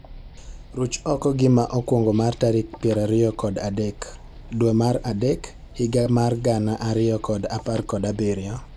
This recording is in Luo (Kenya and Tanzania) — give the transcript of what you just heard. Ruch oko gima okwongo mar tarik piero ariyo kod adek dwe mar adek higa mar gana ariyo kod apar kod abirio